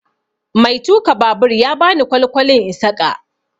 Mai tuka babur ya bani kwalkwali in saƙa.